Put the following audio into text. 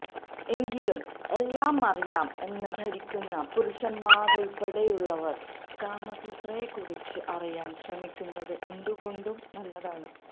എങ്കിലും എല്ലാമറിയാം എന്ന് ധരിക്കുന്ന പുരുഷന്മാരുള്പ്പടെയുള്ളവര് കാമസൂത്രയെക്കുറിച്ച് അറിയാന് ശ്രമിക്കുന്നത് എന്തുകൊണ്ടും നല്ലതാണ്